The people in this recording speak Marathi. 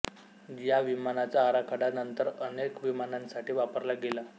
या विमानाचा आराखडा नंतर अनेक विमानांसाठी वापरला गेला